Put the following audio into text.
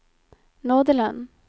Nodeland